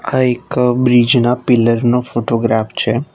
આ એક બ્રિજ ના પીલર નો ફોટોગ્રાફ છે.